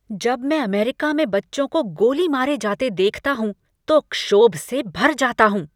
जब मैं अमेरिका में बच्चों को गोली मारे जाते देखता हूं तो क्षोभ से भर जाता हूं।